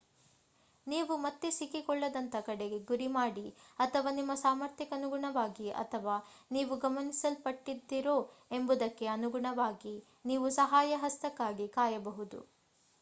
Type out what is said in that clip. ನೀವು ಮತ್ತೆ ಸಿಕ್ಕಿಕೊಳ್ಳದಂತ ಕಡೆಗೆ ಗುರಿ ಮಾಡಿ ಅಥವಾ ನಿಮ್ಮ ಸಾಮರ್ಥ್ಯಕ್ಕನುಗುಣವಾಗಿ ಅಥವಾ ನೀವು ಗಮನಿಸಲ್ಪಟ್ಟಿದ್ದೀರೋ ಎಂಬುದಕ್ಕೆ ಅನುಗುಣವಾಗಿ ನೀವು ಸಹಾಯ ಹಸ್ತಕ್ಕಾಗಿ ಕಾಯಬಹುದು